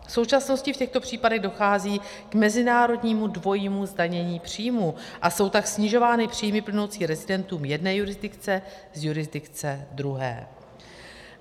V současnosti v těchto případech dochází k mezinárodnímu dvojímu zdanění příjmů a jsou tak snižovány příjmy plynoucí rezidentům jedné jurisdikce z jurisdikce druhé.